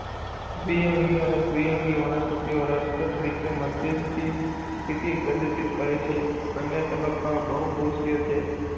દ્વિઅંગી અને ત્રિઅંગી વનસ્પતિઓ રસપ્રદ રીતે મધ્યસ્થી સ્થિતિ પ્રદર્શિત કરે છે બંને તબક્કાઓ બહુકોષીય છે.